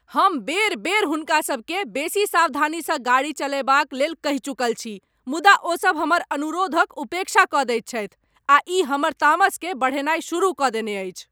हम बेर बेर हुनका सबकेँ बेसी सावधानीसँ गाड़ी चलयबाक लेल कहि चुकल छी मुदा ओसब हमर अनुरोधक उपेक्षा कऽ दैत छथि, आ ई हमर तामसकेँ बढ़ेनाइ शुरु कऽ देने अछि।